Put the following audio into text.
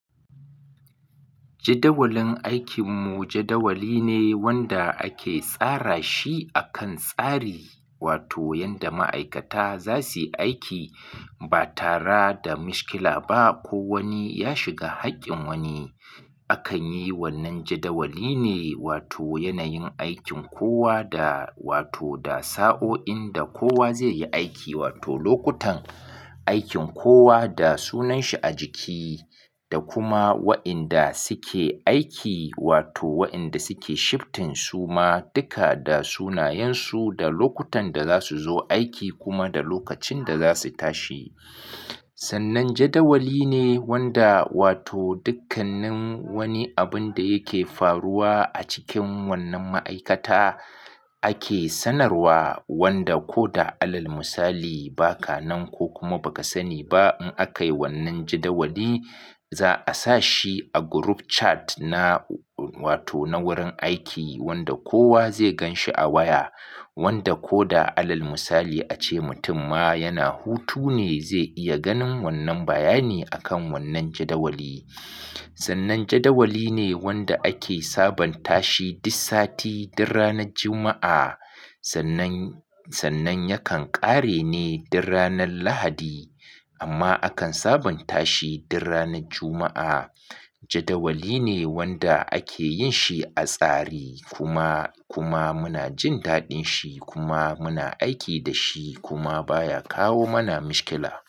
Jadawalin aikin mu jadawali ne wanda ake tsara shi akan tsari, wato yanda ma'aikata za su yi aiki ba tare da mishkila ba. Ko wani ya shiga haƙƙin wani. Akan yi wannan jadawali ne wato yanayin aikin kowa da wato da sa'o'in da kowa zai yi aiki wato lokutan aikin kowa da sunan shi a jiki da kuma wa inda suke aiki wato wa inda suke shiftin su ma duka da sunayensu da lokutan da za su zo aiki kuma da lokacin da za su tashi. Sannan jadawali ne wanda wato dukkannin wani abun da yake faruwa a cikin wannan ma'aikata ake sanarwa wanda ko da alal misali baka nan ko kuma baka sani ba in akai wannan jadawali za a sa shi a group chat na wato na wurin aiki wanda kowa zai gan shi a waya wanda ko da alal misali ace mutum ma yana hutu ne zai iya ganin wannan bayani akan wannan jadawali. Sannan jadawali ne wanda ake sabunta shi duk sati, duk ranar Juma'a. Sannan, sannan yakan ƙare ne dur ranar Lahadi amma akan sabunta shi dur ranar Juma'a. Jadawali ne wanda ake yin shi a tsari kuma, kuma muna jin daɗin shi kuma muna aiki da shi kuma baya kawo mana mishkila.